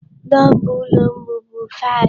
Number ụlọ m bụbu 5.